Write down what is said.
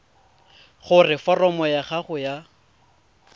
gore foromo ya gago ya